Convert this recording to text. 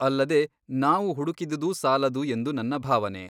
ಅಲ್ಲದೆ ನಾವು ಹುಡುಕಿದುದೂ ಸಾಲದು ಎಂದು ನನ್ನ ಭಾವನೆ.